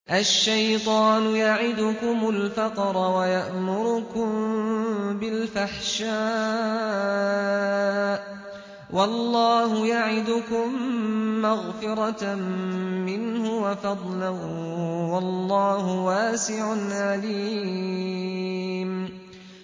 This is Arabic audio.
الشَّيْطَانُ يَعِدُكُمُ الْفَقْرَ وَيَأْمُرُكُم بِالْفَحْشَاءِ ۖ وَاللَّهُ يَعِدُكُم مَّغْفِرَةً مِّنْهُ وَفَضْلًا ۗ وَاللَّهُ وَاسِعٌ عَلِيمٌ